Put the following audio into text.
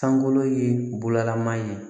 Sangolo ye bolaman ye